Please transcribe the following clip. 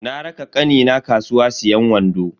Na raka kanina kasuwa siyan wando.